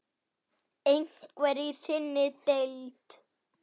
Einhver í þinni deild?